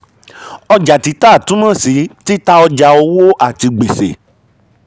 ọjà títà túmọ̀ um sí títà ọjà owó àti gbèsè.